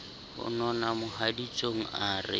ho nona mohaditsong a re